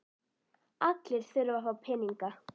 Allir þurfa að fá peninga.